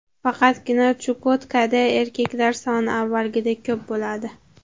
Faqatgina Chukotkada erkaklar soni avvalgidek ko‘p bo‘ladi.